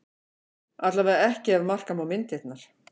Allavega ekki ef marka má myndirnar